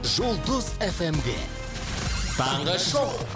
жұлдыз фмде таңғы шоу